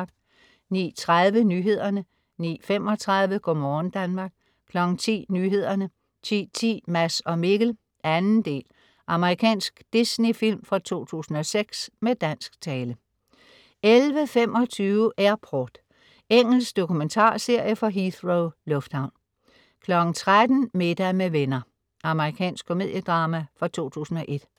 09.30 Nyhederne 09.35 Go' morgen Danmark 10.00 Nyhederne 10.10 Mads og Mikkel 2. Amerikansk Disney-film fra 2006 med dansk tale 11.25 Airport. Engelsk dokumentarserie fra Heathrow lufthavn 13.00 Middag med venner. Amerikansk komediedrama fra 2001